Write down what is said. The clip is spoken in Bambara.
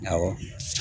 Awɔ